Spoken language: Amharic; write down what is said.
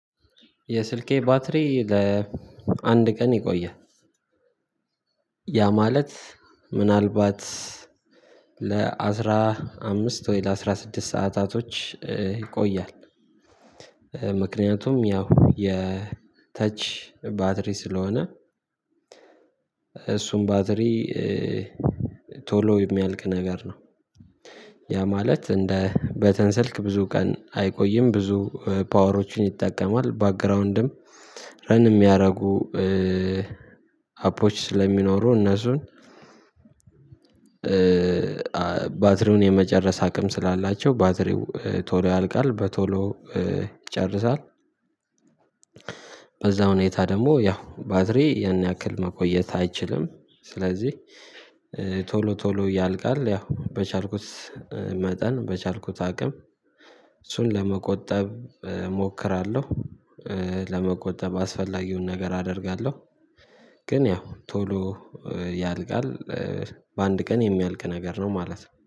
የስልኬ ባትሪ ለአንድ ቀን ይቆያል ያ ማለት ምናልባት ለአስራ አምስት ወይ ለአስራ ስድስት ሰዓታቶች ይቆያል ምክንያቱም ያው የተች ባትሪ ስለሆነ እሱም ባትሪ ቶሎ የሚያልቅ ነገር ነው ያ ማለት እንደ በተን ስልክ ብዙ ቀን አይቆይም ብዙ ፓወሮችን ይጠቀማል ባክግራውንድም ረን የሚያደርጉ አፕሮች ስለሚኖሩ እነሱን ባትሪውን የመጨረስ አቅም ስላላቸው ባትሪው ቶሎ ያልቃል በቶሎ ይጨርሳል በዛው ሁኔታ ደግሞ ያው ባትሪ ያን ያክል መቆየት አይችልም ስለዚህ ቶሎ ቶሎ ያልቃል ያው በቻልኩት መጠን በቻልኩት አቅም እሱን ለመቆጠብ እሞክራለሁ ለመቆጠብ አስፈላጊውን ነገር አደርጋለሁ ግን ያው ቶሎ ያልቃል። በአንድ ቀን የሚያልቅ ነገር ነው ማለት ነው።